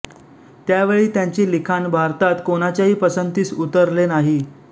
त्यावेळी त्यांचे लिखाण भारतात कोणाच्याही पसंतीस उतरले नाही